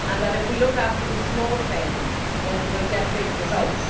If we look after the small things, then we will get big results.